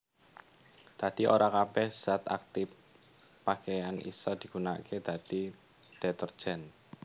Dadi ora kabèh zat aktip pakeyan isa digunakaké dadi detergen